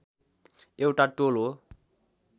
एउटा टोल हो